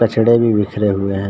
कचड़े भी बिखरे हुए है|